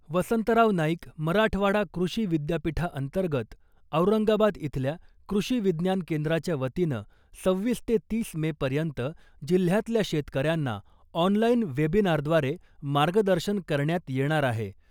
वसंतराव नाईक मराठवाडा कृषी विद्यापीठाअंतर्गत औरंगाबाद इथल्या कृषी विज्ञान केंद्राच्या वतीनं सव्हीस ते तीस मे पर्यंत जिल्ह्यातल्या शेतकऱ्यांना ऑनलाईन वेबिनारद्वारे मार्गदर्शन करण्यात येणार आहे .